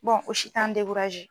o si t'an